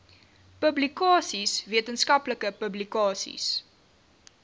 publikasies wetenskaplike publikasies